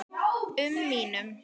um mínum.